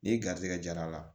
Ni garisɛgɛ jara a la